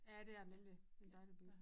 Ja det er det nemlig det en dejlig by